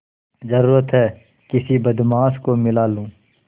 जरुरत हैं किसी बदमाश को मिला लूँ